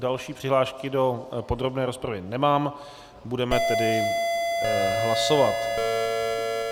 Další přihlášky do podrobné rozpravy nemám, budeme tedy hlasovat.